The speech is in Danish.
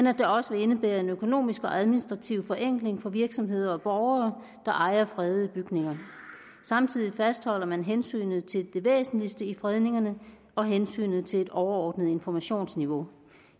at det også vil indebære en økonomisk og administrativ forenkling for virksomheder og borgere der ejer fredede bygninger samtidig fastholder man hensynet til det væsentligste i fredningerne og hensynet til et overordnet informationsniveau